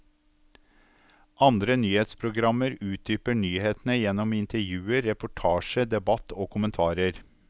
Andre nyhetsprogrammer utdyper nyhetene gjennom intervjuer, reportasje, debatt og kommentarer.